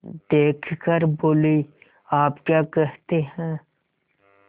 देख कर बोलीआप क्या कहते हैं